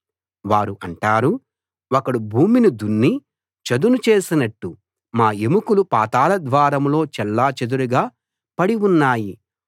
వారు అంటారు ఒకడు భూమిని దున్ని చదును చేసినట్టు మా ఎముకలు పాతాళ ద్వారంలో చెల్లాచెదురుగా పడి ఉన్నాయి